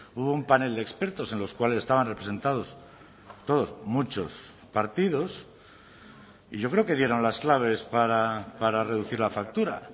hubo un panel de expertos en los cuales estaban representados todos muchos partidos y yo creo que dieron las claves para reducir la factura